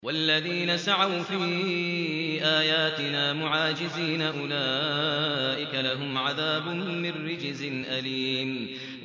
وَالَّذِينَ سَعَوْا فِي آيَاتِنَا مُعَاجِزِينَ أُولَٰئِكَ لَهُمْ عَذَابٌ مِّن رِّجْزٍ أَلِيمٌ